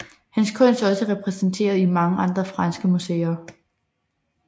Hans kunst er også repræsenteret i mange andre franske museer